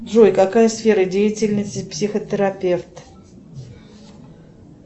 джой какая сфера деятельности психотерапевт